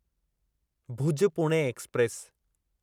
Bhuj Pune express